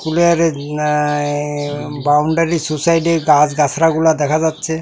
নাই বাউন্ডারি সোসাইটির গাস গাসরাগুলা দেখা যাচ্ছে।